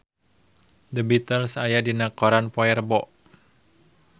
The Beatles aya dina koran poe Rebo